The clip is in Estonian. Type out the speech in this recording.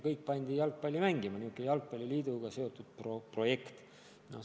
Kõik on pandud jalgpalli mängima – selline jalgpalliliidu projekt.